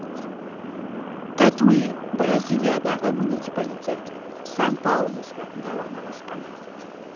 татуи бразилиядағы муниципалитет сан паулу штатында орналасқан